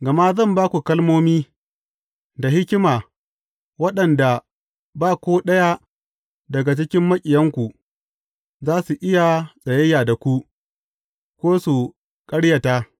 Gama zan ba ku kalmomi, da hikima waɗanda ba ko ɗaya daga cikin maƙiyanku, za su iya tsayayya da ku, ko su ƙaryata.